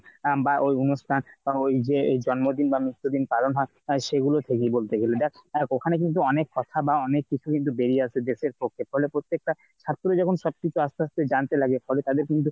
আম বা ওই অনুষ্ঠান তখন ওই যে ওই জন্মদিন বা মৃত্যু দিন পালন হয়। সে গুলো থেকেই বলতে গেলে দেখ আর ওখানে কিন্তু অনেক কথা বা অনেক কিছু কিন্তু বেরিয়ে আসে। দেশের পক্ষে তাহলে প্রত্যেকটা ছাত্র যখন সব কিছু আসতে আসতে জানতে লাগে। তাহলে তাদের কিন্তু